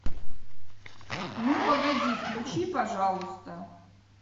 ну погоди включи пожалуйста